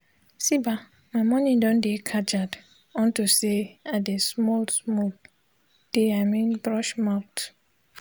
see bah my mornin don de kajad unto say i de smoll smoll de i mean brush mouth